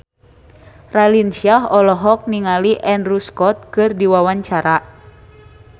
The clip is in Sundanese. Raline Shah olohok ningali Andrew Scott keur diwawancara